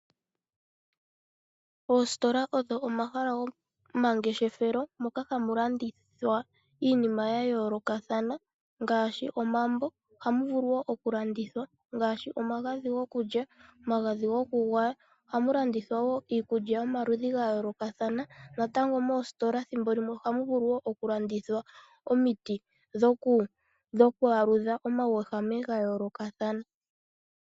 Oositola odho omahala gomangeshefelo moka hamu landithwa iinima yayolokathana ngaashi omambo. Ohamu vulu wo oku landithwa ngaashi omagadhi gokulya, omagadhi goku gwaya. Oha mu landithwa wo iikulya yomaludhi gayolokathana. Natango moositola oha mu vulu wo oku landithwa omiiti dhoku aludha omauwehame ga yolokathana.